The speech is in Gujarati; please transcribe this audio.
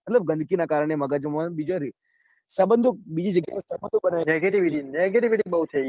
ગંદકી નાં કારણે મગજમાં બીજા રે. સબંધો બીજી જગ્યા એ સબંધો આપડે negativitynegativity બઉ થઇ ગઈ છે